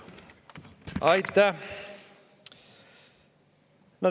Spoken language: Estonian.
Aitäh!